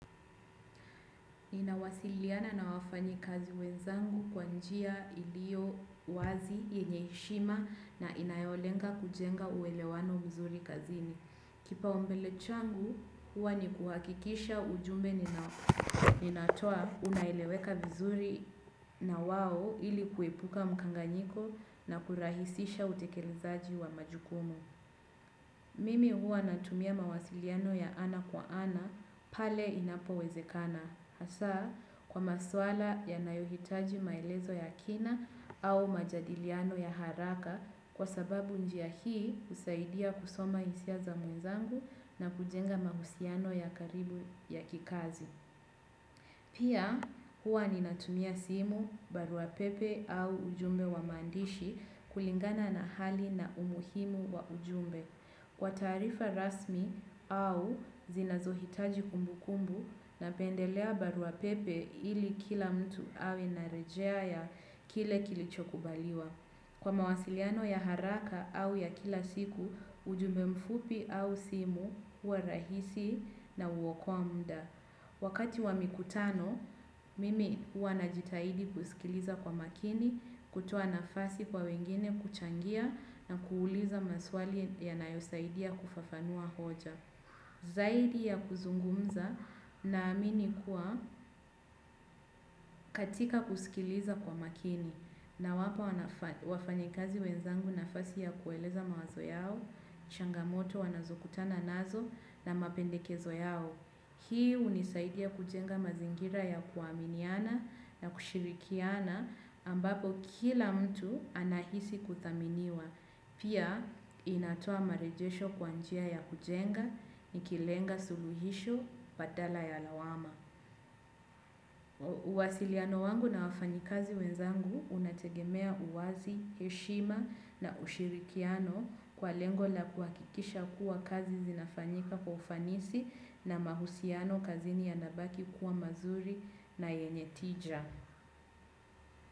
Ninawasiliana na wafanyikazi wenzangu kwa njia ilio wazi yenye heshima na inayolenga kujenga uelewano mzuri kazini. Kipawa mbele changu, huwa ni kuhakikisha ujumbe ninatoa unaeleweka vizuri na wao ili kuepuka mkanganyiko na kurahisisha utekelezaji wa majukumu. Mimi huwa natumia mawasiliano ya ana kwa ana pale inapo wezekana. Hasa kwa maswala ya nayohitaji maelezo ya kina au majadiliano ya haraka kwa sababu njia hii kusaidia kusoma hisia za mwenzangu na kujenga mahusiano ya karibu ya kikazi. Pia huwa ninatumia simu, baruapepe au ujumbe wa maandishi kulingana na hali na umuhimu wa ujumbe. Kwa taarifa rasmi au zinazohitaji kumbukumbu napendelea barua pepe ili kila mtu awe na rejea ya kile kilicho kubaliwa. Kwa mawasiliano ya haraka au ya kila siku, ujume mfupi au simu huwa rahisi na huokoa muda. Wakati wa mikutano, mimi huanajitahidi kusikiliza kwa makini, kutoa nafasi kwa wengine kuchangia na kuuliza maswali yanayosaidia kufafanua hoja. Zaidi ya kuzungumza naamini kuwa katika kusikiliza kwa makini nawapawafanyikazi wenzangu nafasi ya kueleza mawazo yao, changamoto wanazokutana nazo na mapendekezo yao. Hii hunisaidia kujenga mazingira ya kuaminiana na kushirikiana ambapo kila mtu anahisi kudhaminiwa. Pia inatoa marejesho kwa njia ya kujenga nikilenga suluhisho badala ya lawama. Uwasiliano wangu na wafanyikazi wenzangu unategemea uwazi, heshima na ushirikiano kwa lengo la kuhakikisha kuwa kazi zinafanyika kwa ufanisi na mahusiano kazini yanabaki kuwa mazuri na yenye tija.